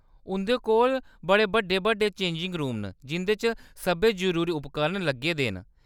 उंʼदे कोल बड़े बड्डे-बड्डे चेंजिंग रूम न जिंʼदे च सब्भै जरूरी उपकरण लग्गे दे न।